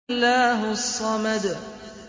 اللَّهُ الصَّمَدُ